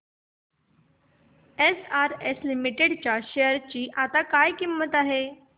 SRS limited च्या share ची आता काय किंमत आहे